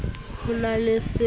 ho na le se sa